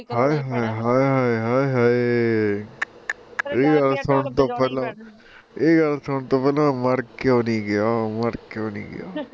ਹਾਏ ਹਾਏ ਹਾਏ ਆਏ ਹਾਏ ਏਹ ਗੱਲ ਸੁਣਨ ਤੋਂ ਪਹਿਲਾਂ, ਏਹ ਗੱਲ ਸੁਣਨ ਤੋਂ ਪਹਿਲਾਂ ਮੈਂ ਮਰ ਕਿਉ ਨੀ ਗਿਆ ਮਰ ਕਿਉ ਨੀ ਗਿਆ